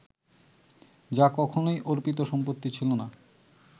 যা কখনোই অর্পিত সম্পত্তি ছিল না